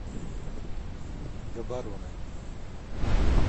габороне